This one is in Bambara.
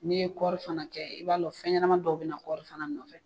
N'i ye kɔrifana kɛ i b'a dɔn fɛn ɲɛnama dɔw bɛna na kɔrɔrifana nɔfɛ